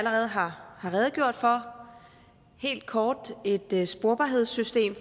allerede har redegjort for helt kort et et sporbarhedssystem